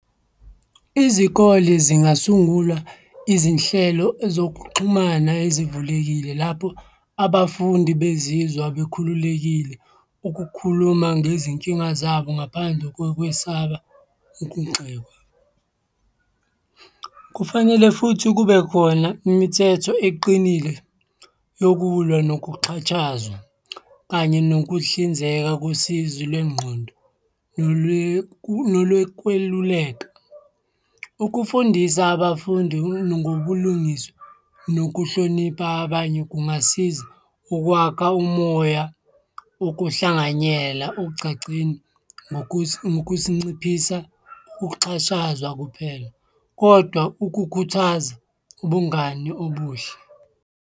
Izikole zingasungula izinhlelo zokuxhumana ezivulekile lapho abafundi bezizwa bekhululekile ukukhuluma ngezinkinga zabo ngaphandle kokwesaba ukugxekwa. Kufanele futhi kube khona imithetho eqinile yokulwa nokuxhatshazwa kanye nokuhlinzeka kosizi lwengqondo, nolokweluleka. Ukufundisa abafundi ngobulungiswa nokuhlonipha abanye kungasiza ukwakha umoya wokuhlanganyela ogcagcina ngokusinciphisa ukuxhashazwa kuphela, kodwa ukukhuthaza ubungani obuhle.